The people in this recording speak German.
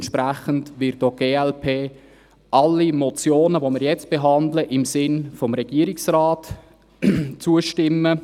Entsprechend wird auch die glp allen Motionen, die wir jetzt behandeln, im Sinn des Regierungsrates zustimmen.